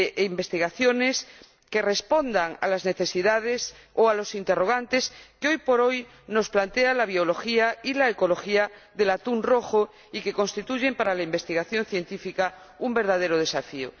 investigaciones que respondan a las necesidades o a los interrogantes que, hoy por hoy, nos plantea la biología y la ecología del atún rojo, y que constituyen para la investigación científica un verdadero desafío.